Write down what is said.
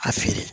A feere